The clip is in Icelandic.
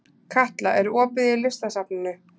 Katla, er opið í Listasafninu?